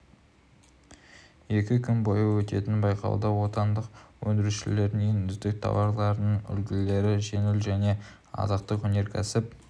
екі күн бойы өтетін байқауда отандық өндірушілердің ең үздік тауарларының үлгілері жеңіл және азықтық өнеркәсіп